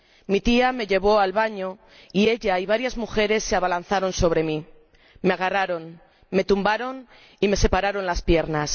Mi tía me llevó al baño y ella y varias mujeres se abalanzaron sobre mí, me agarraron, me tumbaron y me separaron las piernas.